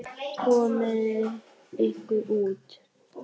Komiði ykkur út!